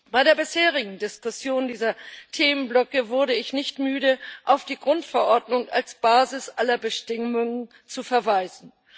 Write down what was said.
Bei der bisherigen Diskussion dieser Themenblöcke wurde ich nicht müde, auf die Grundverordnung als Basis aller Bestimmungen zu verweisen.